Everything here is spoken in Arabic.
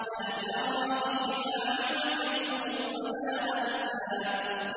لَّا تَرَىٰ فِيهَا عِوَجًا وَلَا أَمْتًا